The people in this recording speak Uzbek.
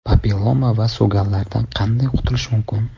Papilloma va so‘gallardan qanday qutulish mumkin?.